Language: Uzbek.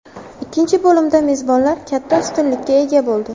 Ikkinchi bo‘limda mezbonlar katta ustunlikka ega bo‘ldi.